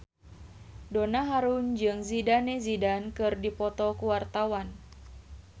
Donna Harun jeung Zidane Zidane keur dipoto ku wartawan